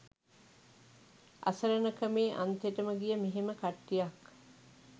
අසරණකමේ අන්තෙටම ගිය මෙහෙම කට්ටියක්